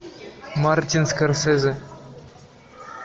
мартин скорсезе